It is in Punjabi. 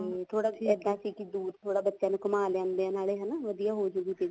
ਤੇ ਥੋੜਾ ਇੱਦਾਂ ਸੀ ਕੀ ਥੋੜਾ ਦੂਰ ਥੋੜਾ ਬੱਚਿਆਂ ਨੂੰ ਘੁੰਮਾ ਲਿਆਂਦੇ ਆ ਹਨਾ ਵਧੀਆ ਹੋਜੂਗੀ feel